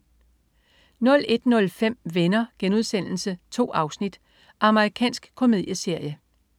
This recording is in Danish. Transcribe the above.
01.05 Venner.* 2 afsnit. Amerikansk komedieserie